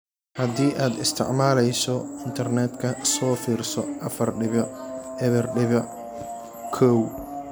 Haddii aad isticmaalayso Internetka so firso afar dibic eber dibic kow.